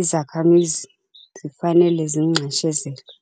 izakhamizi zifanele zinxeshezelwe.